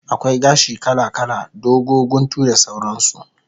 Akwai gashi kala kala, dogo, guntu da sauran su